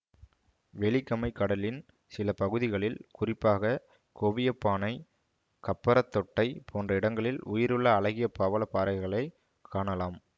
வெலிகமைக் கடலின் சில பகுதிகளில் குறிப்பாக கொவியப்பானை கப்பரத்தொட்டை போன்ற இடங்களில் உயிருள்ள அழகிய பவள பாறைகளை காணலாம்